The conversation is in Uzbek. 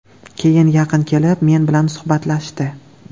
Keyin yaqin kelib, men bilan suhbatlashdi.